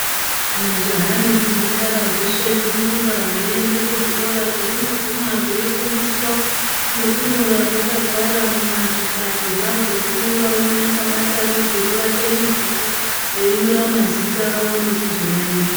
Zvimajaha nemhandara zveshe zvinorumba zveienda kuzvikora kwezvinoguma zveifundiswa nekunyora zvakagara muzvihlayo zvazvo umwe naumwe akabata nebhiro rake nebhuku veinyora mazita avo nekuzomaverenga .